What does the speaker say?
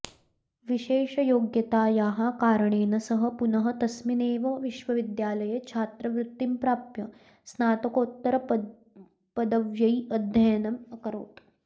विशेषयोग्यतायाः कारणेन सः पुनः तस्मिन्नेव विश्वविद्यालये छात्रवृत्तिं प्राप्य स्नातकोत्तरपदव्यै अध्ययनम् अकरोत्